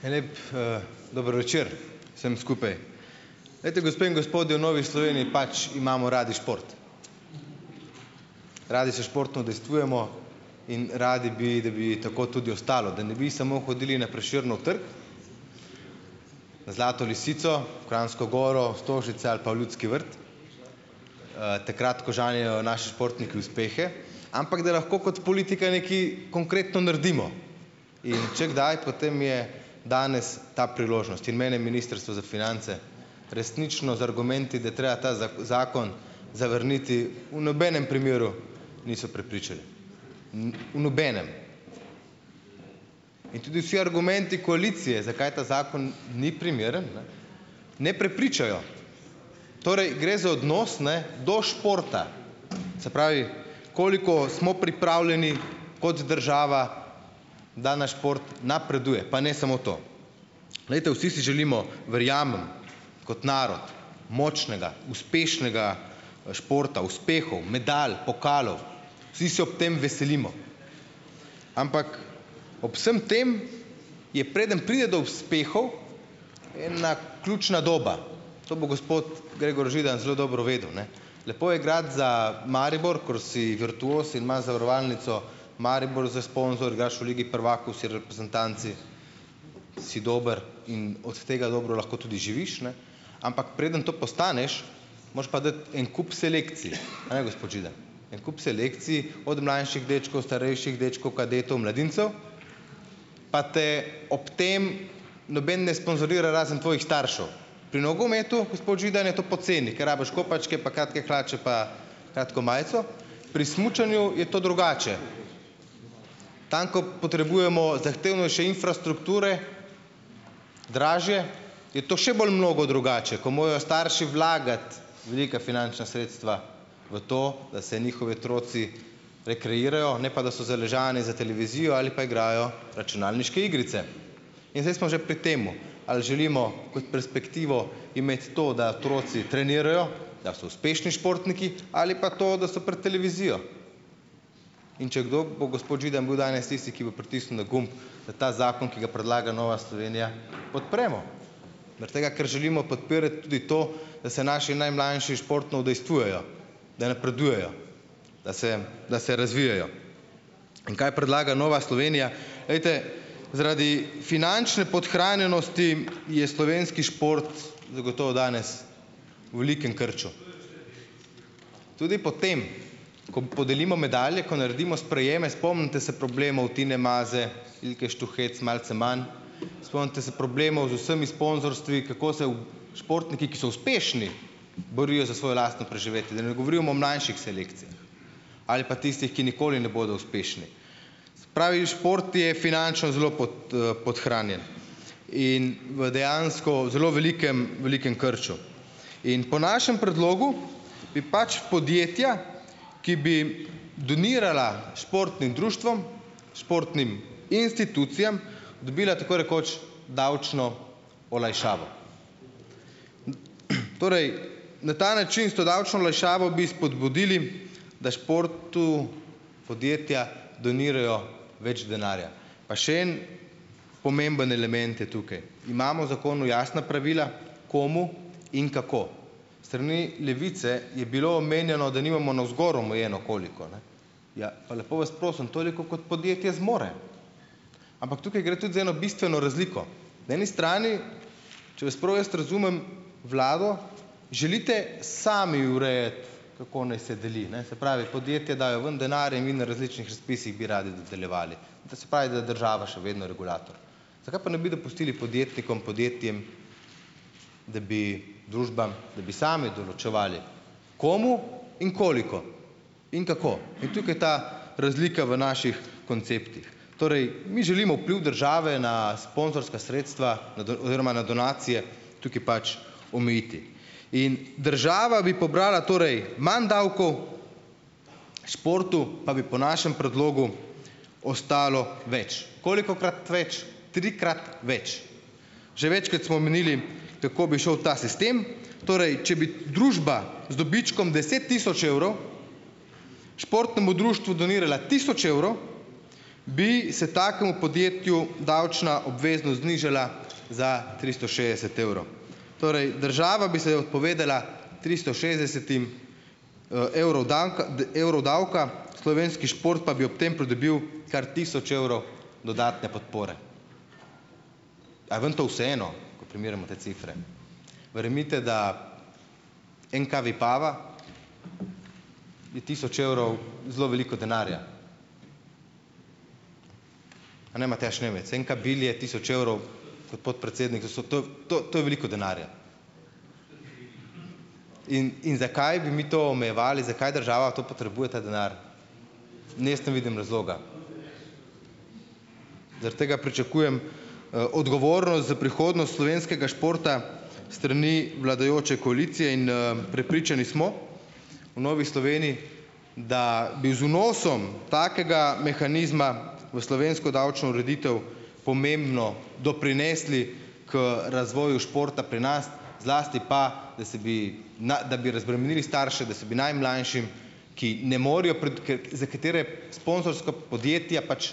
En lep dober večer vsem skupaj. Glejte, gospe in gospodje, v Novi Sloveniji pač imamo radi šport. Radi se športno udejstvujemo in radi bi, da bi tako tudi ostalo. Da ne bi samo hodili na Prešernov trg, na Zlato lisico, v Kranjsko goro, Stožice ali pa v Ljudski vrt, takrat ko žanjejo naši športniki uspehe, ampak da lahko kot politika nekaj konkretno naredimo. In če kdaj, potem je danes ta priložnost in mene je Ministrstvo za finance resnično z argumenti, da je treba ta zakon zavrniti, v nobenem primeru nisem prepričan. v nobenem. In tudi vsi argumenti koalicije, zakaj ta zakon ni primeren, ne, ne prepričajo. Torej, gre za odnos, ne, do športa. Se pravi, koliko smo pripravljeni, kot država, da naš šport napreduje. Pa ne samo to. Glejte, vsi si želimo, verjamem, kot narod močnega, uspešnega športa, uspehov, medalj, pokalov. Vsi se ob tem veselimo. Ampak ob vsem tem je, preden pride do uspehov, ena ključna doba. To bo gospod Gregor Židan zelo dobro vedel, ne. Lepo je igrati za Maribor, kor si virtuoz in imaš Zavarovalnico Maribor za sponzor, igraš v Ligi prvakov, si reprezentant, si, si dober in od tega dobro lahko tudi živiš, ne, ampak preden to postaneš, moreš pa dati en kup selekcije, ne, gospod Židan? En kup selekcij, od mlajših dečkov, starejših dečkov, kadetov, mladincev pa te ob tem noben ne sponzorira razen tvojih staršev. Pri nogometu, gospod Židan, je to poceni, ker rabiš kopačke pa kratke hlače pa kratko majico. Pri smučanju je to drugače. Tam, ko potrebujemo zahtevnejše infrastrukture, dražje, je to še bolj mnogo drugače, ko morajo starši vlagati velika finančna sredstva v to, da se njihovi otroci rekreirajo, ne pa da so zaležani za televizijo ali pa igrajo računalniške igrice. In zdaj smo že pri tem, ali želimo kot perspektivo imeti to, da otroci trenirajo , da so uspešni športniki, ali pa to, da so pred televizijo. In če kdo, bo gospod Židan bil danes tisti, ki bo pritisnil na gumb, da ta zakon, ki ga predlaga Nova Slovenija, podpremo . Zaradi tega, ker želimo podpirati tudi to, da se naši najmlajši športno udejstvujejo, da napredujejo, da se, da se razvijejo. In, kaj predlaga Nova Slovenija? Glejte, zaradi finančne podhranjenosti je slovenski šport zagotovo danes v velikem krču. Tudi potem ko podelimo medalje, ko naredimo sprejeme, spomnite se problemov Tine Maze, Ilke Štuhec malce manj, spomnite se problemov z vsemi sponzorstvi, kako se športniki, ki so uspešni, borijo za svoje lastno preživetje . Da ne govorim o mlajših selekcijah. Ali pa tistih, ki nikoli ne bodo uspešni. Se pravi, šport je finančno zelo podhranjen in v dejansko zelo velikem, velikem krču. In po našem predlogu bi pač podjetja, ki bi donirala športnim društvom, športnim institucijam, dobila tako rekoč davčno olajšavo . torej, na ta način, s to davčno olajšavo bi spodbudili, da športu podjetja donirajo več denarja. Pa še en pomemben element je tukaj. Imamo v zakonu jasna pravila komu in kako. Strani Levice je bilo omenjeno, da nimamo navzgor omejeno koliko, ne. Ja, pa lepo vas prosim, toliko kot podjetja zmore. Ampak tukaj gre tudi za eno bistveno razliko. Na eni strani, če vas prav jaz razumem, vlado, želite sami urejati kako naj se deli, ne. Se pravi, podjetja dajo ven denar in vi na različnih razpisih bi radi nadaljevali. To se , da država še vedno regulator. Zakaj ne pa ne bi dopustili podjetnikom , podjetjem, da bi družbam, da bi sami določevali komu in koliko. In kako. In tukaj ta razlika v naših konceptih. Torej, mi želimo vpliv države na sponzorska sredstva na oziroma na donacije, tukaj pač omejiti. In država bi pobrala torej manj davkov, športu pa bi po našem predlogu ostalo več. Kolikokrat več? Trikrat več. Že večkrat smo omenili , tako bi šel ta sistem, torej če bi družba z dobičkom deset tisoč evrov športnemu društvu donirala tisoč evrov, bi se takemu podjetju davčna obveznost znižala za tristo šestdeset evrov. Torej država bi se odpovedala tristo šestdesetim evrov evrov davka, slovenski šport pa bi ob tem pridobil kar tisoč evrov dodatne podpore. Kaj vam to vseeno? Ko primerjamo te cifre? Verjemite, da NK Vipava bi tisoč evrov zelo veliko denarja. A ne, Matjaž Nemec, NK Bilje je tisoč evrov, gospod predsednik, da so to, to, to je veliko denarja. In, in zakaj bi mi to omejevali, zakaj država to potrebuje, ta denar? Ne, jaz ne vidim razloga. Zaradi tega pričakujem odgovornost za prihodnost slovenskega športa strani vladajoče koalicije in prepričani smo, v Novi Sloveniji, da bi z vnosom takega mehanizma v slovensko davčno ureditev pomembno doprinesli k razvoju športa pri nas, zlasti pa, da se bi da bi razbremenili starše, da se bi najmlajšim, ki ne morejo za katere sponzorsko podjetja pač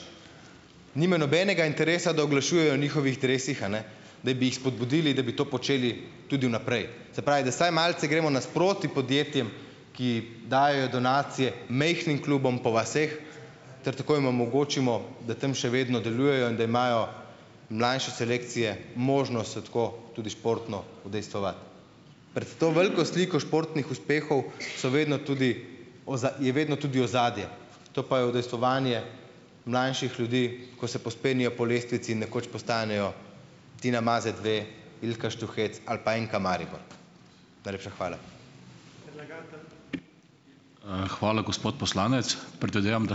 nimajo nobenega interesa, da oglašujejo njihovih dresih, a ne, da bi jih spodbudili, da bi to počeli tudi vnaprej. Se pravi, da vsaj malce gremo nasproti podjetjem, ki dajejo donacije majhnim klubom po vaseh, ter tako jim omogočimo, da tam še vedno delujejo in da imajo mlajše selekcije možnost se tako tudi športno udejstvovati. Pred to veliko sliko športnih uspehov so vedno tudi je vedno tudi ozadje. To pa je udejstvovanje mlajših ljudi, ko se povzpenjajo po lestvici, nekoč postanejo Tina Maze dve, Ilka Štuhec ali pa NK Maribor. Najlepša hvala.